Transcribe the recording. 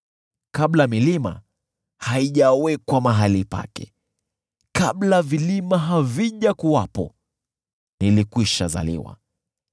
kabla milima haijawekwa mahali pake, kabla vilima havijakuwepo, nilikwishazaliwa,